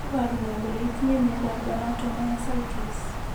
Iporu ne kole itinye miondap dermatomyositis?